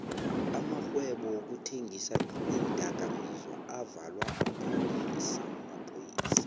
amarhwebo wokuthengisa iindoka mizwa avalwa maphayisa